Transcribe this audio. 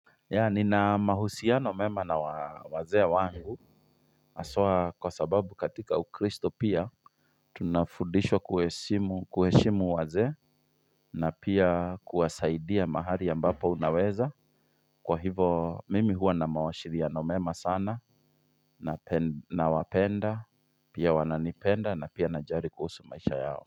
Ya nina mahusiano mema na wa wazee wangu haswa kwa sababu katika ukristo pia Tunafudishwa kuheshimu kuheshimu wazee na pia kuwasaidia mahali ambapo unaweza Kwa hivo mimi huwa na mawashiriano mema sana nape na wapenda Pia wananipenda na pia najali kuhusu maisha yao.